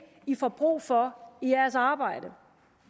i får brug for i jeres arbejde